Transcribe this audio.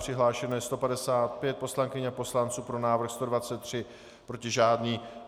Přihlášeno je 155 poslankyň a poslanců, pro návrh 123, proti žádný.